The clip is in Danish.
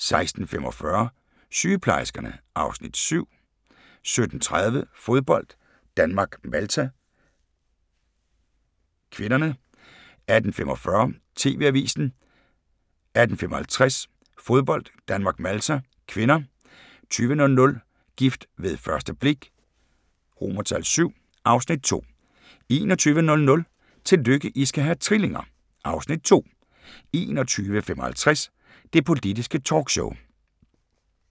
16:45: Sygeplejerskerne (Afs. 7) 17:30: Fodbold: Danmark-Malta (k) 18:45: TV-avisen 18:55: Fodbold: Danmark-Malta (k) 20:00: Gift ved første blik VI (Afs. 2) 21:00: Tillykke, I skal have trillinger! (Afs. 2) 21:55: Det Politiske Talkshow